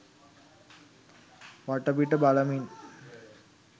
වටපිට බලමින්